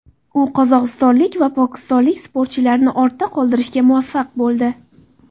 U qozog‘istonlik va pokistonlik sportchilarni ortda qoldirishga muvaffaq bo‘ldi.